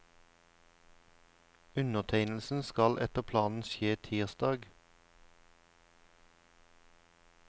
Undertegnelsen skal etter planen skje tirsdag.